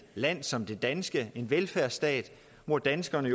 land som det danske en velfærdsstat hvor danskerne